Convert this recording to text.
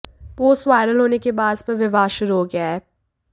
post viral होने के बाद इस पर विवाद शुरू हो गया है